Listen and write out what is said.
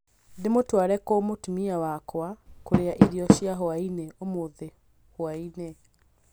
Ndĩmutware kũ mũtumia wakwa kuria irio cia hwaĩ-inĩ ũmũthĩ hwaĩinĩ